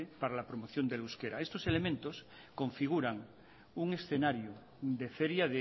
para la promoción del euskera estos elementos configuran un escenario de feria